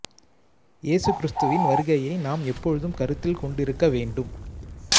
இயேசு கிறிஸ்துவின் வருகையை நாம் எப்பொழுதும் கருத்தில் கொண்டிருக்க வேண்டும்